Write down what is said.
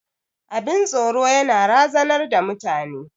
Abin tsoro yana razanar da mutane.